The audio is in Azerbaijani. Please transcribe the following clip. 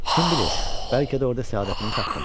Kim bilir, bəlkə də orada səadətimi tapdım.